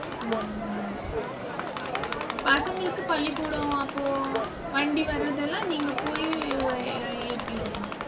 உம் பசங்களுக்கு பள்ளிக்கூடம் அப்போ வண்டி வர்றதெல்லாம் நீங்க போயி ஏத்தி விடணும்.